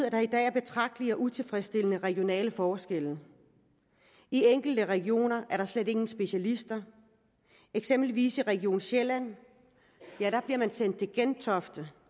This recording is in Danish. at der i dag er betragtelige og utilfredsstillende regionale forskelle i enkelte regioner er der slet ingen specialister eksempelvis i region sjælland bliver man sendt til gentofte